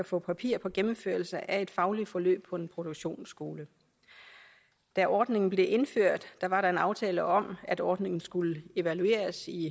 få papir på gennemførelsen af et fagligt forløb på en produktionsskole da ordningen blev indført var der en aftale om at ordningen skulle evalueres i